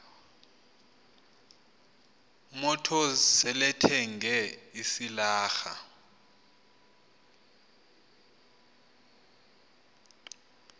motors selethenge isilarha